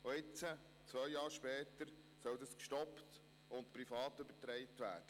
Und jetzt, zwei Jahre später, soll dies gestoppt und privat übertragen werden.